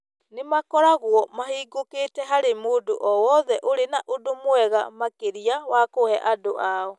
nĩ makoragwo mahingũkĩtĩ harĩ mũndũ o wothe ũrĩ na ũndũ mwega makĩria wa kũhe andũ ao.